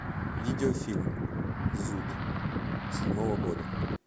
видеофильм зуд седьмого года